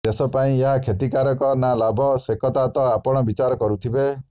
ଦେଶ ପାଇଁ ଏହା କ୍ଷତିକାରକ ନା ଲାଭ ସେକଥା ତ ଆପଣ ବିଚାର କରୁଥିବେ